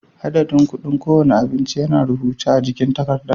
Adadin kuɗin kowane abinci yana a rubuce a jikin takarda.